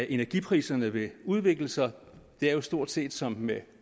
energipriserne vil udvikle sig det er jo stort set som med